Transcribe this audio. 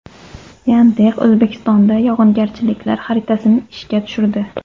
Yandex O‘zbekistonda yog‘ingarchiliklar xaritasini ishga tushirdi.